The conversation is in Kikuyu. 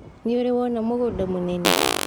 Nĩũrĩ wona mũgũnda mũnene.